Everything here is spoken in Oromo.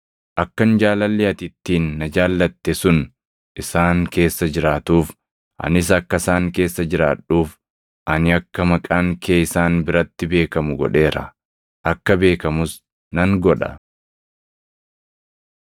Akkan jaalalli ati ittiin na jaallatte sun isaan keessa jiraatuuf, anis akka isaan keessa jiraadhuuf ani akka maqaan kee isaan biratti beekamu godheera; akka beekamus nan godha.”